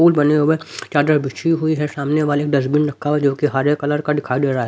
फूल बने हुए हैं चादर बिछी हुई है सामने वाले एक डस्टबिन रखा हुआ है जो कि हरे कलर का दिखाई दे रहा है।